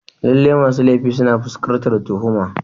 Lallai masu laifi suna fuskantar tuhuma.